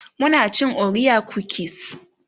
muna cin orea kukis